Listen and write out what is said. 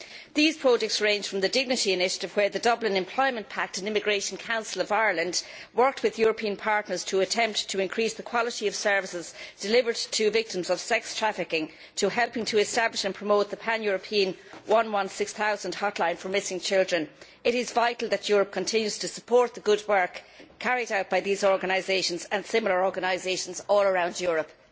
These projects range from the Dignity initiative in which the Dublin Employment Pact and the Immigration Council of Ireland worked with European partners to attempt to raise the quality of services delivered to victims of sex trafficking to helping establish and promote the pan European 116000 Hotline for Missing Children. It is vital that the Union continues to support the good work carried out by these organisations and similar organisations all around Europe.